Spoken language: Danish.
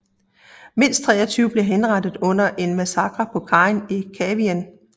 Mindst 23 blev henrettet under en massakre på kajen i Kavieng